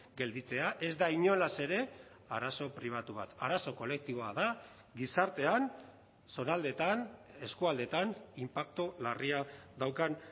gelditzea ez da inolaz ere arazo pribatu bat arazo kolektiboa da gizartean zonaldeetan eskualdeetan inpaktu larria daukan